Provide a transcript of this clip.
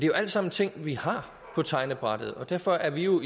jo alt sammen ting vi har på tegnebrættet og derfor er vi jo